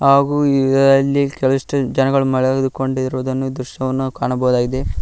ಹಾಗು ಇದರಲ್ಲಿ ಕೆಲವಷ್ಟು ಜನ ಮಲಗಿಕೊಂಡಿರುವ ದೃಶ್ಯವನ್ನು ನಾವು ಕಾಣಬಹುದಾಗಿದೆ.